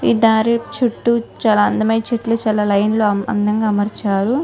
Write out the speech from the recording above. ఈ దారి చుట్టూ చాల అందమైన చెట్లుచాల లైన్ లో చాల అందంగా అమర్చారు.